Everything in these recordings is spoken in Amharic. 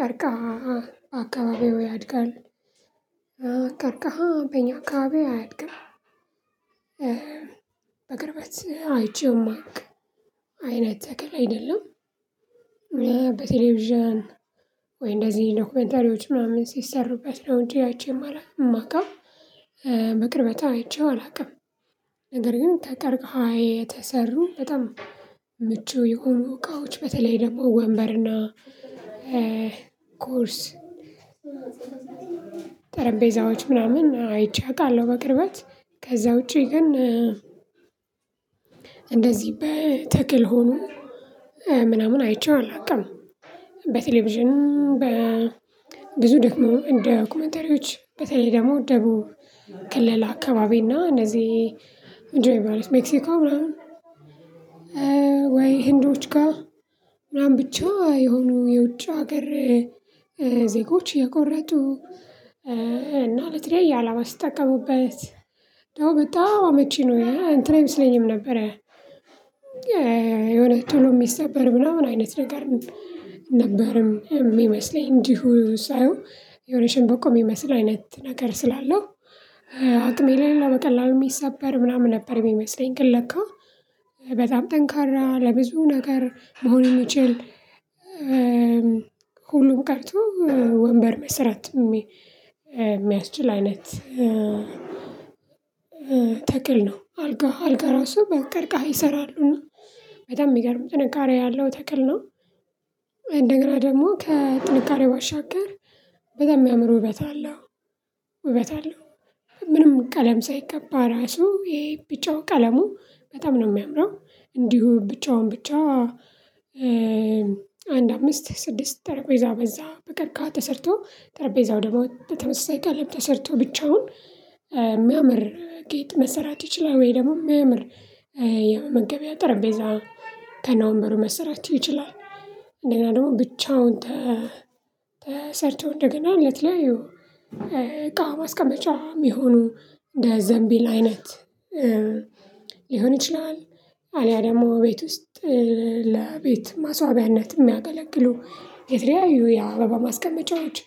ቀርቃሃ አካባቢው ያድጋል። ቀርቃሃ በእኛ አካባቢ አያድግም። በቅርበት አይቼውም አይቼው ማውቅ አይነት ተክል አይደለም። በቴሌቪዥን ወይ እንደዚህ ዶክመንተሪዎች ምናምን ሲሠሩበት ነው እንጂ አይቼ ማለፍ የማውቀው። በቅርበት አይቼው አላውቅም። ነገር ግን ከቀርቀሃ የተሰሩ በጣም ምቹ የሆኑ እቃዎች በተለይ ደግሞ ወንበርና ኮርስ ጠረጴዛዎች ምናምን አይቼ አውቃለሁ። በቅርበት ከዚያ ውጭ ግን እንደዚህ በተክል ሆኖ ምናምን አይቼው አላውቅም። በቴሌቪዥን በብዙ ደግሞ ዶኮመንተሪዎች በተለይ ደግሞ ደቡብ ክልል አካባቢ እና እነዚህ እንጂ ሜክሲኮ ምናምን ወይ ህንዶች ጋር ምናምን ብቻ የሆኑ የውጭ አገር ዜጎች እየቆረጡ እና ለተለያየ አላማ ሲጠቀሙበት ደሞ በጣም አመቺ ነው እንትን ይመስለኝም ነበረ። ቶሎ የሚሰበር ምናምን አይነት ነገር ነበር የሚመስለኝ እንዲሁ ሳየው የሆነ ሸንበቆ የሚመስል አይነት ነገር ስላለው አቅም የሌለው በቀላሉ የሚሰበር ምናምን ነበር የሚመስለኝ። ግን ለካ በጣም ጠንካራ ለብዙ ነገር መሆን የሚችል ሁሉም ቀርቶ ወንበር መስራት የሚያስችል አይነት። ተፈጥሮ አለው ተክል ነው አልጋ አልጋ ራሱ በቀርቃሃ ይሰራሉ በጣም የሚገርም ጥንካሬ ያለው ተክል ነው። እንደገና ደግሞ ከጥንካሬ ባሻገር በጣም የሚያምር ውበት አለው። ውበት አለው ምንም ቀለም ሳይቀባ ራሱ ይሄ ቢጫው ቀለሙ በጣም ነው የሚያምረው። እንዲሁ ቢጫውን ብቻ አንድ አምስት ስድስት ጠረጴዛ በዛ በቀርቃሃ ተሰርቶ ጠረጴዛ ወደ በተመሳሳይ ቅርጽ ተሰርቶ ብቻውን የሚያምር ጌጥ መስራት ይቻላል ወይ ደግሞ የሚያምር የመመገቢያ ጠረጴዛ ከነወንበሩ መሰራት ይቻላል። እንደገና ደግሞ ብቻውን ተሰርተው እንደገና ለተለያዩ እቃ ማስቀመጫም የሚሆኑ እንደ ዘንቢል አይነት ሊሆን ይችላል። አልያ ደግሞ ቤት ውስጥ ለቤት ማሥዋቢያነት የሚያገለግሉ የተለያዩ የአበባ ማስቀመጫዎች።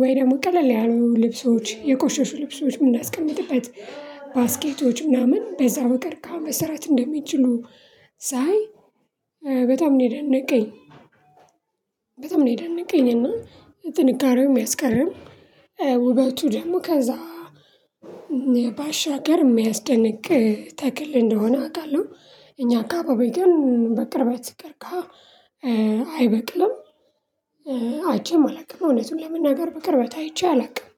ወይ ደግሞ ቀለል ያሉ ልብሶች የቆሸሹ ልብሶች የምናስቀምጥበት ባስኬቶች ምናምን በዛ በቀርቃሃ መሰራት እንደሚችሉ። ሳይ በጣም ነው የደነቀኝ። በጣም ነው የደነቀኝ እና ጥንካሬውም የሚያስገርም ውበቱ ደግሞ ከዛ ባሻገር የሚያስደንቅ ተክል እንደሆነ አውቃለሁ። እኛ አካባቢ ግን በቅርበት ቀርቃሃ አይበቅልም። አይቼም አላውቅም እውነቱን ለመናገር በቅርበት አይቼ አላውቅም።